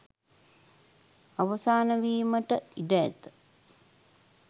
අවසාන වීමට ඉඩ ඇත